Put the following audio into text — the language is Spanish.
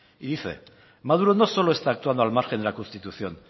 y dice maduro no solo está actuando al margen de la constitución